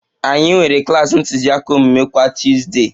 Anyị nwere klas ntụziaka omume kwa Tuuzde